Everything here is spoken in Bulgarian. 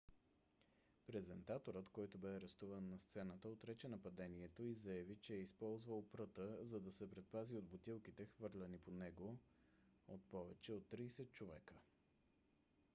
презентаторът който бе арестуван на сцената отрече нападението и заяви че е използвал пръта за да се предпази от бутилките хвърляни по него от повече от тридесет човека